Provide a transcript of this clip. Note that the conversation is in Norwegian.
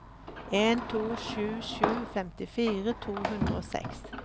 en to sju sju femtifire to hundre og seks